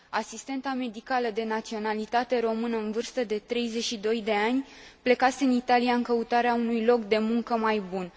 Asistenta medicală de naționalitate română, în vârstă de 32 de ani, plecase în Italia în căutarea unui loc de muncă mai bun.